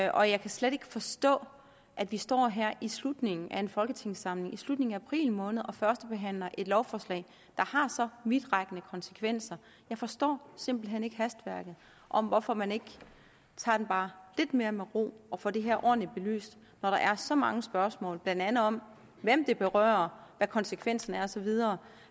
og jeg kan slet ikke forstå at vi står her i slutningen af en folketingssamling i slutningen af april måned og førstebehandler et lovforslag der har så vidtrækkende konsekvenser jeg forstår simpelt hen ikke hastværket og hvorfor man ikke tager den bare lidt mere med ro og får det her ordentligt belyst når der er så mange spørgsmål blandt andet om hvem det berører hvad konsekvensen er og så videre